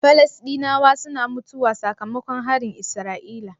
Falastinawa suna mutuwa saka makon harin isra'ila?